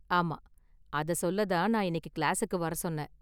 ஆமா, அத சொல்ல தான் நான் இன்னைக்கு கிளாஸுக்கு வர சொன்னேன்.